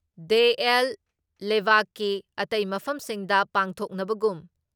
ꯗꯦ ꯑꯦꯜ ꯂꯦꯕꯥꯛꯀꯤ ꯑꯇꯩ ꯃꯐꯝꯁꯤꯡꯗ ꯄꯥꯡꯊꯣꯛꯅꯕꯒꯨꯝ